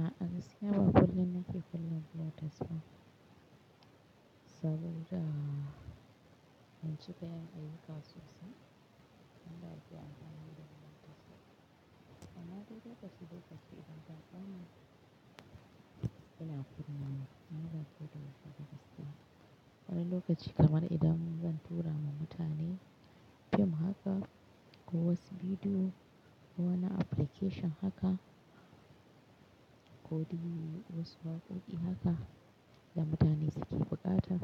A'a gaskiya ba kullum nake kulle blotes ba. Saboda ban cika yin ayyuka sosai, wanda ake amfani da bluetooth ba. Amma dai lokaci lokaci idan baƙi suna zuwa nan, ina kunna bluetooth. Wani lokaci kamar idan zan tura ma mutane fim haka ko wasu bidiyo ko wani application haka, ko dai wasu waƙoƙi haka da mutane suke bukata,